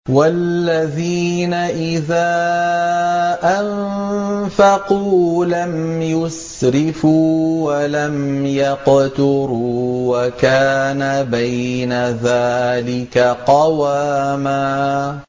وَالَّذِينَ إِذَا أَنفَقُوا لَمْ يُسْرِفُوا وَلَمْ يَقْتُرُوا وَكَانَ بَيْنَ ذَٰلِكَ قَوَامًا